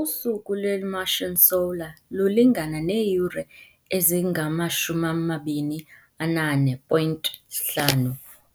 Usuku lwe-Martian solar lulingana neeyure ezingama-24.5